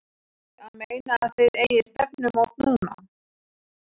Ertu að meina. að þið eigið stefnumót núna.